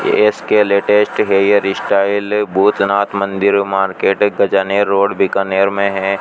S K latest hair style Bhootnath मंदीर market Gajner road Bikaner मे है।